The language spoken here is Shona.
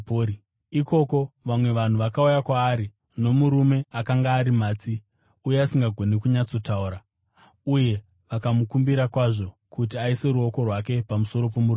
Ikoko vamwe vanhu vakauya kwaari nomurume akanga ari matsi uye asingagoni kunyatsotaura, uye vakamukumbira kwazvo kuti aise ruoko rwake pamusoro pomurume uyu.